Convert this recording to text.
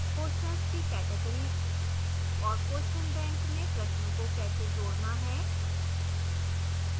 questions की categories और question bank में प्रश्नों को कैसे जोड़ना है